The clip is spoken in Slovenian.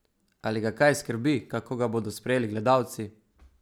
Ali ga kaj skrbi, kako ga bodo sprejeli gledalci?